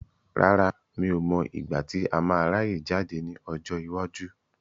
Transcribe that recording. Rárá, mi ò mọ igbati a máa ráyè jáde ní ọjọ́ iwájú.